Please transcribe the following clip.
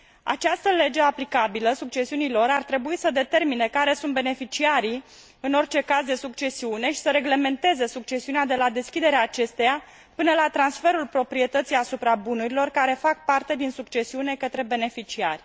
Această lege aplicabilă succesiunii lor ar trebui să determine care sunt beneficiarii în orice caz de succesiune și să reglementeze succesiunea de la deschiderea acesteia până la transferul proprietății asupra bunurilor care fac parte din succesiune către beneficiari.